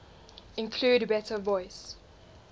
include better voice